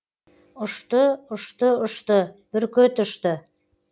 ұшты ұшты ұшты бүркіт ұшты